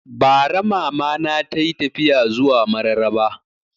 Bara Mama na tayi tafiya zuwa Mararaba